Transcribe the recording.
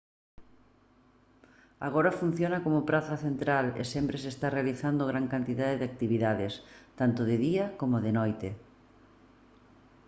agora funciona como praza central e sempre se están realizando gran cantidade de actividades tanto de día coma de noite